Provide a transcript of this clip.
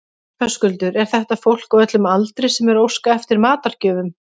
Höskuldur, er þetta fólk á öllum aldri sem er að óska eftir matargjöfum?